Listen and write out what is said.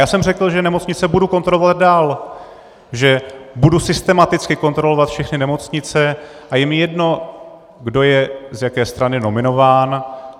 Já jsem řekl, že nemocnice budu kontrolovat dál, že budu systematicky kontrolovat všechny nemocnice, a je mi jedno, kdo je z jaké strany nominován.